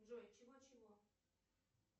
джой чего чего